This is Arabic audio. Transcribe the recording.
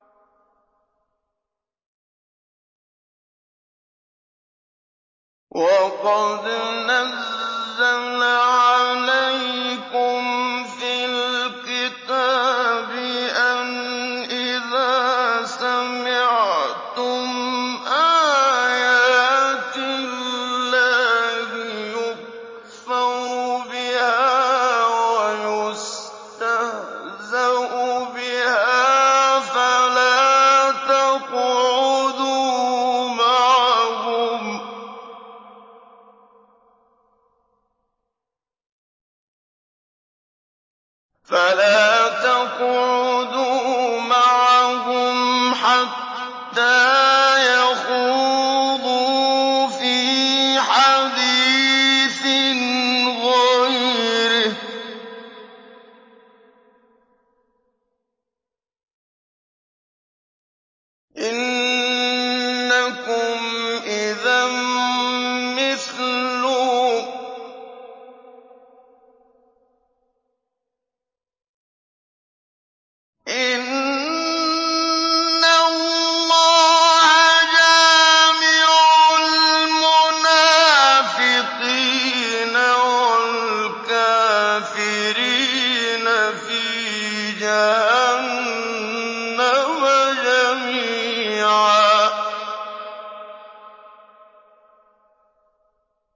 وَقَدْ نَزَّلَ عَلَيْكُمْ فِي الْكِتَابِ أَنْ إِذَا سَمِعْتُمْ آيَاتِ اللَّهِ يُكْفَرُ بِهَا وَيُسْتَهْزَأُ بِهَا فَلَا تَقْعُدُوا مَعَهُمْ حَتَّىٰ يَخُوضُوا فِي حَدِيثٍ غَيْرِهِ ۚ إِنَّكُمْ إِذًا مِّثْلُهُمْ ۗ إِنَّ اللَّهَ جَامِعُ الْمُنَافِقِينَ وَالْكَافِرِينَ فِي جَهَنَّمَ جَمِيعًا